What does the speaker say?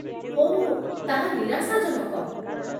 ଓଃ, ତାହା ନିରାଶାଜନକ